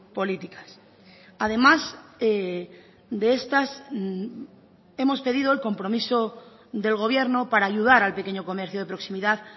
políticas además de estas hemos pedido el compromiso del gobierno para ayudar al pequeño comercio de proximidad